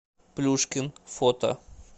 плюшкин фото